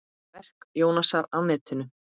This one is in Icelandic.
Verk Jónasar á netinu